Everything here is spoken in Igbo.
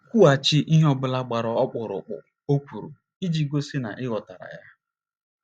Kwughachi ihe ọ bụla gbara ọkpụrụkpụ o kwuru iji gosi ya na ị ghọtara ya.